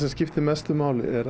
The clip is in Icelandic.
skiptir mestu máli er